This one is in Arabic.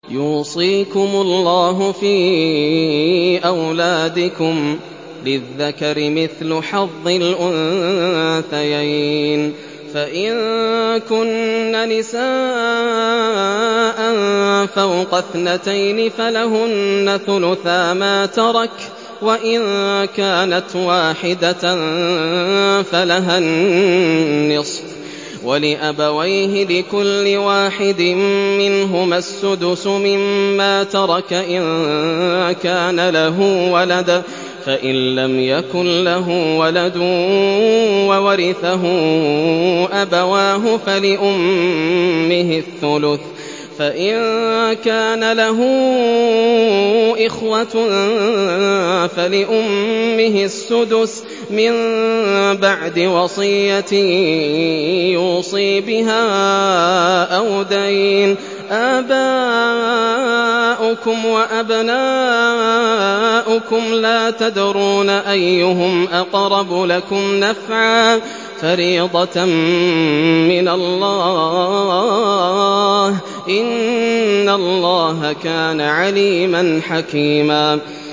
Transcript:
يُوصِيكُمُ اللَّهُ فِي أَوْلَادِكُمْ ۖ لِلذَّكَرِ مِثْلُ حَظِّ الْأُنثَيَيْنِ ۚ فَإِن كُنَّ نِسَاءً فَوْقَ اثْنَتَيْنِ فَلَهُنَّ ثُلُثَا مَا تَرَكَ ۖ وَإِن كَانَتْ وَاحِدَةً فَلَهَا النِّصْفُ ۚ وَلِأَبَوَيْهِ لِكُلِّ وَاحِدٍ مِّنْهُمَا السُّدُسُ مِمَّا تَرَكَ إِن كَانَ لَهُ وَلَدٌ ۚ فَإِن لَّمْ يَكُن لَّهُ وَلَدٌ وَوَرِثَهُ أَبَوَاهُ فَلِأُمِّهِ الثُّلُثُ ۚ فَإِن كَانَ لَهُ إِخْوَةٌ فَلِأُمِّهِ السُّدُسُ ۚ مِن بَعْدِ وَصِيَّةٍ يُوصِي بِهَا أَوْ دَيْنٍ ۗ آبَاؤُكُمْ وَأَبْنَاؤُكُمْ لَا تَدْرُونَ أَيُّهُمْ أَقْرَبُ لَكُمْ نَفْعًا ۚ فَرِيضَةً مِّنَ اللَّهِ ۗ إِنَّ اللَّهَ كَانَ عَلِيمًا حَكِيمًا